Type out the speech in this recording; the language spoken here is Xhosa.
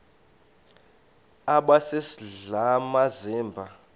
aba sisidl amazimba